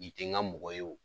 I ten n ka mɔgɔ ye